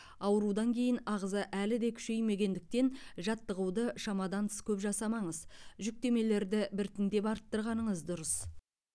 аурудан кейін ағза әлі де күшеймегендіктен жаттығуды шамадан тыс көп жасамаңыз жүктемелерді біртіндеп арттырғаныңыз дұрыс